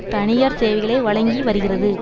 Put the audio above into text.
தனியார் சேவைகளை வழங்கி வருகிறது